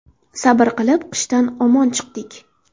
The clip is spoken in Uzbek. Sabr qilib, qishdan omon chiqdik.